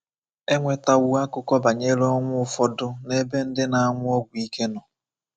E nwetawo akụkọ banyere ọnwụ ụfọdụ n'ebe ndị na-anwụ ọgwụ ike nọ.